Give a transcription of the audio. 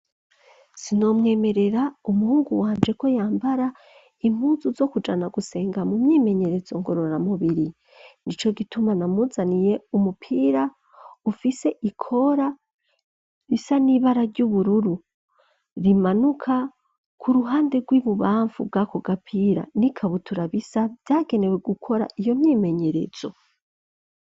Sinomwemerera umuhungu wanje ko yambara impuzu zo kujana gusenga mu myimenyerezo ngororamubiri n'ico gituma namuzaniye umupira ufise ikora bisa n'ibara ry'ubururu, rimanuka ku ruhande rw'ibubamfu bwako gapira, n'ikabutura bisa vyagenewe gukora iyo myimenyerezo.